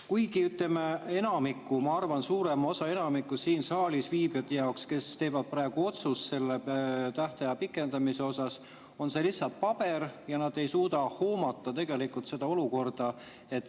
Kuigi enamiku, ma arvan, suurema osa siin saalis viibijate jaoks, kes teevad praegu selle tähtaja pikendamise otsuse, on see lihtsalt paber ja nad ei suuda seda olukorda tegelikult hoomata.